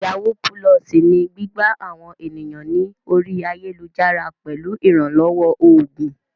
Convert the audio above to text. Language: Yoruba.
Yàwúú pulọọ̀sì ni gbígbá àwọn ènìyàn ní orí ayélujára pẹ̀lú ìrànlọ́wọ́ oògùn.